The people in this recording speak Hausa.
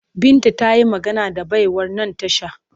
Binta ta yi magana da baiwar nan tasha